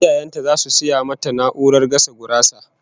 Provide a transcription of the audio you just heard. Iyayen ta zasu saya mata na'urar gasa gurasa